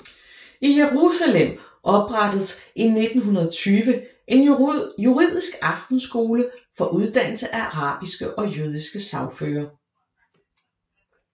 I Jerusalem oprettedes i 1920 en juridisk aftenskole for uddannelse af arabiske og jødiske sagførere